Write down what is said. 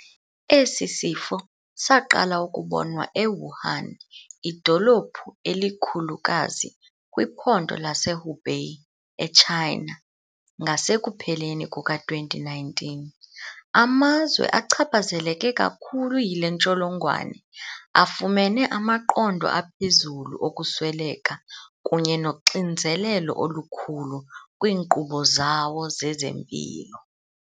Esi sifo saqala ukubonwa e-Wuhan, idolophu elikhulukazi kwiphondo laseHubei eChina, ngasekupheleni kuka-2019. Amazwe achaphazeleke kakhulu yile ntsholongwane afumene amaqondo aphezulu okusweleka kunye noxinzelelo olukhulu kwiinkqubo zawo zezempilo.